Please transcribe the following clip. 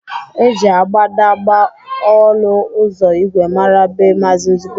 E ji agbadagba ọlụ ụzọ ìgwè mara be Mazi Nzube